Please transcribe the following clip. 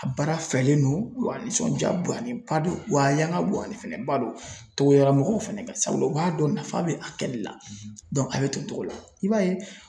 A baara fɛlen don wa nisɔndiya bonyalen ba don, wa a yan ka bonyalen fɛnɛ ba don togodamɔgɔw fɛnɛ kan sabula, u b'a dɔn nafa bɛ a kɛli la a bɛ to o cogo la, i b'a ye.